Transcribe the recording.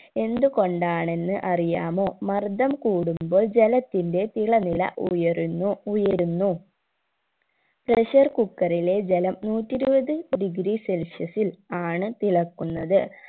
എന്ത് കൊണ്ടാണെന്ന് അറിയാമോ മർദ്ദം കൂടുമ്പോൾ ജലത്തിന്റെ തിളനില ഉയരുന്നു ഉയരുന്നു pressure cooker ലെ ജലം നൂറ്റി ഇരുപത് degree celsius ൽ ആണ് തിളക്കുന്നത്